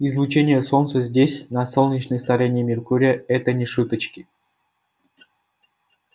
излучение солнца здесь на солнечной стороне меркурия это не шуточки